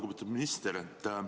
Lugupeetud minister!